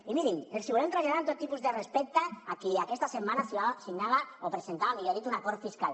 i mirin els hi volem traslladar amb tot tipus de respecte a qui aquesta setmana signava o presentava més ben dit un acord fiscal